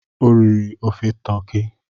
O riri ofe toki.